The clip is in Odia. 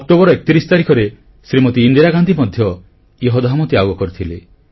ଅକ୍ଟୋବର 31 ତାରିଖରେ ଶ୍ରୀମତି ଇନ୍ଦିରା ଗାନ୍ଧୀ ମଧ୍ୟ ଇହଧାମ ତ୍ୟାଗ କରିଥିଲେ